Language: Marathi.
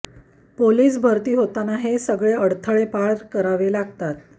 पोलिस भरती होताना हे सगळे अडथळे पार करावे लागतात